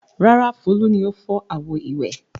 Rárá, Folú ni ó fọ́ àwo-ìwẹ̀.